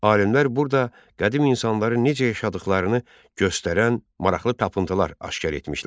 Alimlər burada qədim insanların necə yaşadıqlarını göstərən maraqlı tapıntılar aşkar etmişlər.